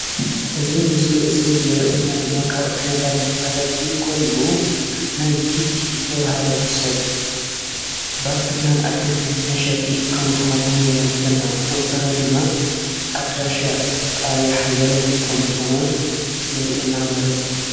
እዚ ምስሊ እዚ ዝርእየና ድማ ካብ ዓይነታት መፈላጢ ኮይኑ ናይ ቲቲ ዝተበሃለ ሰብ ባልትና ኣትክልቲ መሽጥ ከም ዝኮን የመልክተና ብተወሳኪ ኣድራሻ ጣብያ ሓየሎም ከም ዝኮነ የርእየና ማለት እዩ።